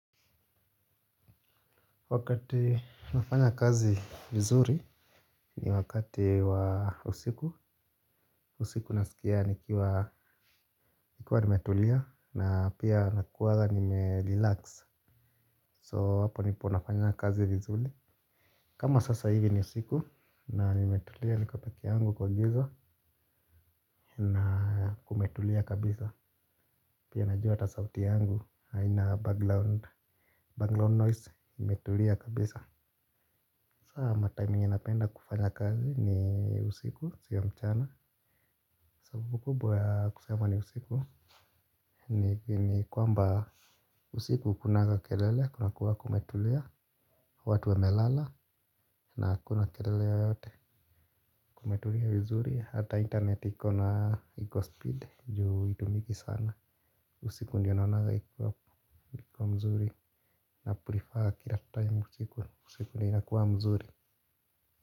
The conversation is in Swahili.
Wakati nafanya kazi vizuri ni wakati wa usiku, usiku nasikia nikiwa nimetulia na pia nakuaga nimerelax so hapo ndipo nafanya kazi vizuri. Kama sasa hivi ni usiku na nimetulia niko peke yangu kwa gizo na kumetulia kabisa pia najua ata sauti yangu aina banglaun Bangalore noise imetulia kabisa. Saa matime ninapenda kufanya kazi ni usiku sio mchana. Sababu kubwa ya kusema ni usiku. Ni kwamba usiku hakunaga kelele kunakuwa kumetulia. Watu wamelala na hakuna kelele yoyote kumetulia mzuri. Hata internet ikona eko speed juu itumiki sana. Usiku ndiyo naunaga ikuwa mzuri. Naprefer kila time usiku usiku ni inakuwa mzuri.